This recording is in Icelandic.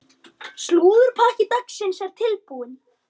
Slúðurpakki dagsins er tilbúinn.